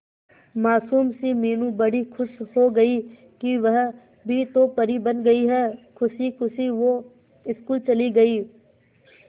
मासूम सी मीनू बड़ी खुश हो गई कि वह भी तो परी बन गई है खुशी खुशी वो स्कूल चली गई